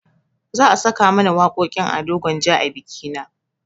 Za a saka mana waƙoƙin ado gwanja a bikina